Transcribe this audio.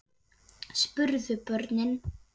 spurðu börnin.